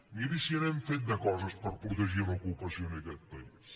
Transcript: miri si n’hem fet de coses per protegir l’ocupació en aquest país